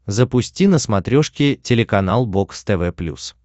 запусти на смотрешке телеканал бокс тв плюс